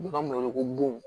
U b'a wele ko bon